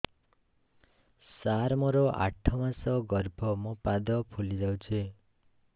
ସାର ମୋର ଆଠ ମାସ ଗର୍ଭ ମୋ ପାଦ ଫୁଲିଯାଉଛି